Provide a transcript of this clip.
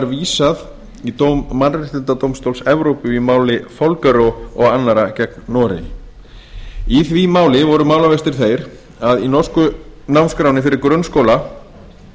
vísað í dóm mannréttindadómstóls evrópu í máli folgerø og annarra gegn noregi í því máli voru málavextir þeir að í norsku námskránni fyrir grunnskóla